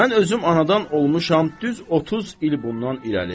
Mən özüm anadan olmuşam düz 30 il bundan irəli.